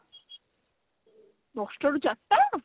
ଦଶଟା ରୁ ଚାରିଟା